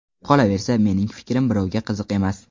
Qolaversa, mening fikrim birovga qiziq emas.